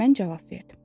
Mən cavab verdim.